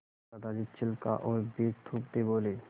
दादाजी छिलका और बीज थूकते बोले